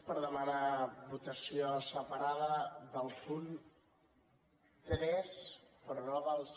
per demanar votació separada del punt tres però no dels